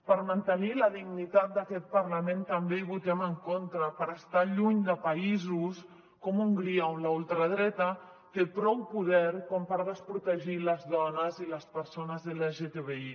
per mantenir la dignitat d’aquest parlament també hi votem en contra per estar lluny de països com hongria on la ultradreta té prou poder com per desprotegir les dones i les persones lgtbi